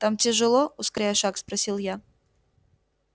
там тяжело ускоряя шаг спросил я